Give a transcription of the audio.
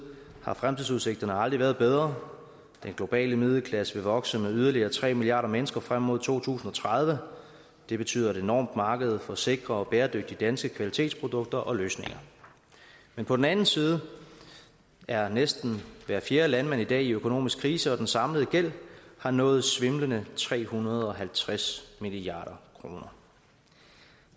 har fremtidsudsigterne aldrig været bedre den globale middelklasse vil vokse med yderligere tre milliarder mennesker frem mod to tusind og tredive det betyder et enormt marked for sikre og bæredygtige danske kvalitetsprodukter og løsninger på den anden side er næsten hver fjerde landmand i dag i økonomisk krise og den samlede gæld har nået svimlende tre hundrede og halvtreds milliard kroner